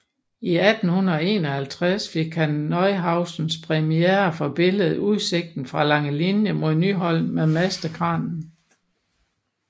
I 1851 fik han Neuhausens præmie for billedet Udsigt fra Langelinie mod Nyholm med Mastekranen